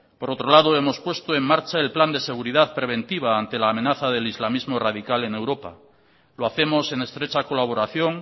por otro lado hemos puesto en marcha el plan de seguridad preventiva ante la amenaza del islamismo radical en europa lo hacemos en estrecha colaboración